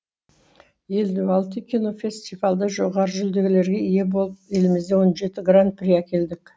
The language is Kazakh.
елу алты кинофестивальде жоғары жүлделерге ие болып елімізге он жеті гран при әкелдік